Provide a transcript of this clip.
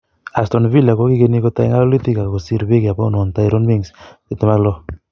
Aston Villa kokingeni kotai ngalalutik ak kosir Beki ab Bournemouth Tyrone Mings,26.